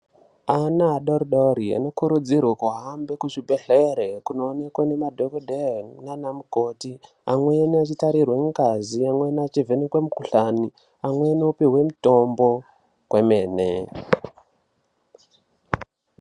Ana adoridori anokurudzirwe kuhambe kuzvibhedhlere kunoonekwa nemadhokodheye naanamukoti , amweni achitarirwe ngazi, amweni achivhenekwe mikhuhlani, amweni opihwe mitombo kwemene.